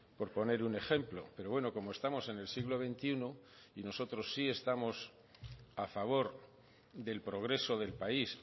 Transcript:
por poner un ejemplo pero bueno como estamos en el siglo veintiuno y nosotros sí estamos a favor del progreso del país